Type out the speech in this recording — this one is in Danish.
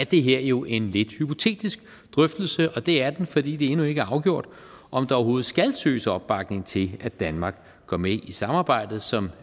det her jo en lidt hypotetisk drøftelse og det er den fordi det endnu ikke er afgjort om der overhovedet skal søges opbakning til at danmark går med i samarbejdet som